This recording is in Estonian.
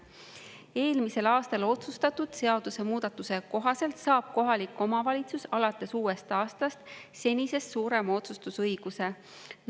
Eelmisel aastal otsustatud seadusemuudatuse kohaselt saab kohalik omavalitsus alates uuest aastast senisest suurema otsustusõiguse.